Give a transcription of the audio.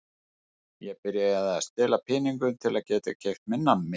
Ég byrjaði að stela pening til að geta keypt mér nammi.